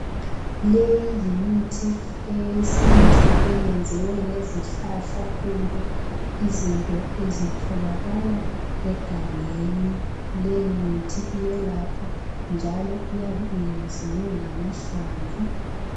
Leyi yimithi eyesintu eyenziwe ngezihlahla kumbe izinto ezitholakala egangeni. Leyi mithi iyelapha njalo iyabe iyenziwe ngamahlamvu